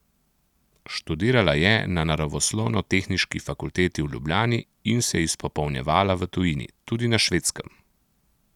Študirala je na naravoslovnotehniški fakulteti v Ljubljani in se izpopolnjevala v tujini, tudi na Švedskem.